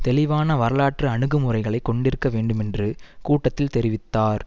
தெளிவான வரலாற்று அணுகு முறைகளை கொண்டிருக்க வேண்டும் என்று கூட்டத்தில் தெரிவித்தார்